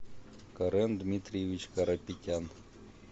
карен дмитриевич карапетян